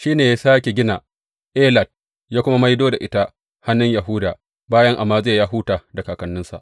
Shi ne ya sāke gina Elat, ya kuma maido da ita a hannun Yahuda bayan Amaziya ya huta da kakanninsa.